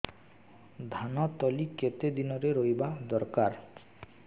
ଧାନ ତଳି କେତେ ଦିନରେ ରୋଈବା ଦରକାର